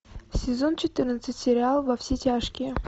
сезон четырнадцать сериал во все тяжкие